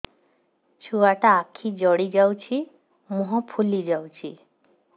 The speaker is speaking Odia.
ଛୁଆଟା ଆଖି ଜଡ଼ି ଯାଉଛି ମୁହଁ ଫୁଲି ଯାଉଛି